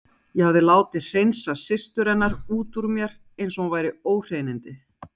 Ég hafði látið hreinsa systur hennar út úr mér eins og hún væri óhreinindi.